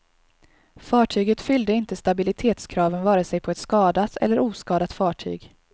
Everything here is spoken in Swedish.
Fartyget fyllde inte stabilitetskraven vare sig på ett skadat eller oskadat fartyg.